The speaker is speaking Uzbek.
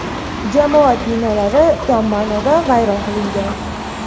jamoat binolari tom ma’noda vayron qilingan.